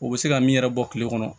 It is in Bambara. U bɛ se ka min yɛrɛ bɔ kile kɔnɔ